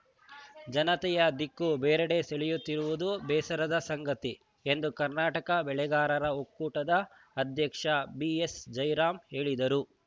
ಜನತೆಯ ದಿಕ್ಕು ಬೇರಡೆ ಸೆಳೆಯುತ್ತಿರುವುದು ಬೇಸರದ ಸಂಗತಿ ಎಂದು ಕರ್ನಾಟಕ ಬೆಳೆಗಾರರ ಒಕ್ಕೂಟದ ಅಧ್ಯಕ್ಷ ಬಿಎಸ್‌ ಜೈರಾಂ ಹೇಳಿದರು